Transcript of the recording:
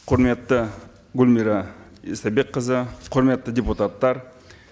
құрметті гүлмира истайбекқызы құрметті депутаттар